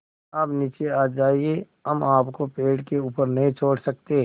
आप नीचे आ जाइये हम आपको पेड़ के ऊपर नहीं छोड़ सकते